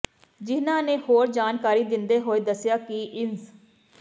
ਜਿਹਨਾਂ ਨੇ ਹੋਰ ਜਾਣਕਾਰੀ ਦਿੰਦੇ ਹੋਏ ਦੱਸਿਆ ਕਿ ਇੰਸ